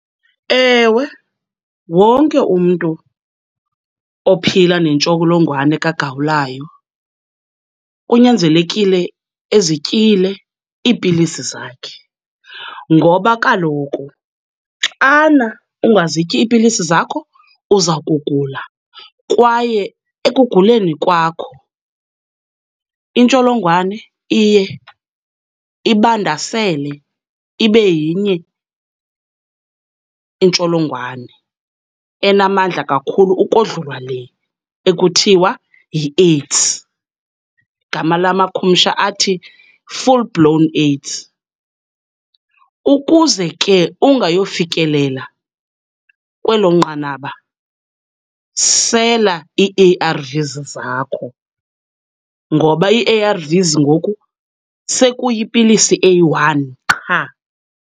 Ewe, wonke umntu ophila nentsholongwane kagawulayo kunyanzelekile ezityile iipilisi zakhe ngoba kaloku xana ungazityi iipilisi zakho, uza kugula kwaye ekuguleni kwakho intsholongwane iye ibandasele ibe yenye intsholongwane enamandla kakhulu ukodlula le ekuthiwa yiAIDS, igama lamakhumsha athi full blown AIDS. Ukuze ke ungayofikelela kwelo nqanaba, sela ii-A_R_Vs zakho ngoba ii-A_R_Vs ngoku sekuyipilisi eyi-one qha.